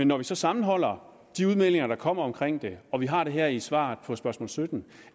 når vi så sammenholder de udmeldinger der kommer omkring det og vi har det her i svaret på spørgsmål sytten